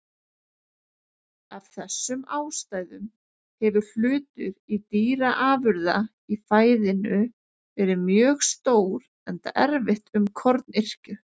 Af þessum ástæðum hefur hlutur dýraafurða í fæðinu verið mjög stór enda erfitt um kornyrkju.